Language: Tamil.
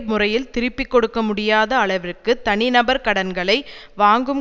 முறையில் திருப்பி கொடுக்க முடியாத அளவிற்கு தனிநபர் கடன்களை வாங்கும்